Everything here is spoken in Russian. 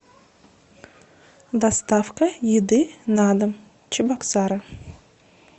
доставка еды на дом чебоксары